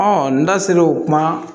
n da sera o kuma